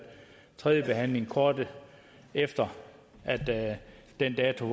tredjebehandlet kort efter den dato